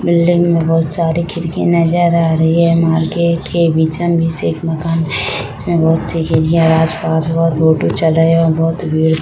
Building में बहुत सारी खिड़कि नजर आ रही है मार्केट के बिचम बीच एक मकान है जिसमे बहुत सी खिड़की है और आसपास बहुत ऑटो चल रही है और बहुत भीड़ है।